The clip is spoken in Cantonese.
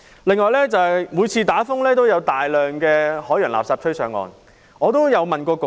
此外，每次出現颱風也會有大量海洋垃圾被吹到岸上。